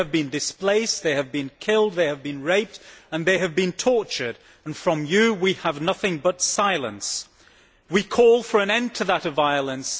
They have been displaced, they have been killed, they have been raped, they have been tortured and from you we have nothing but silence. We call for an immediate end to that violence.